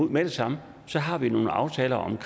med det samme har vi nogle aftaler om